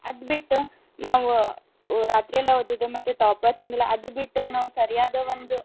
ಅದ್ಬಿಟ್ಟು ನಾವ್ ರಾತ್ರಿ ಎಲ್ಲಾ ಓದೋದ್ ಮತ್ತ್ toppers ಹಿಂಗೆಲ್ಲ ಅದ್ ಬಿಟ್ಟ ನಾವ್ ಸರಿಯಾದ ಒಂದು.